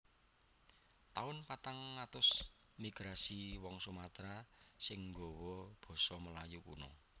Taun patang atus Migrasi wong Sumatera sing gawa basa Melayu kuno